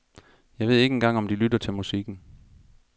Jeg ved ikke engang om de lytter til musikken.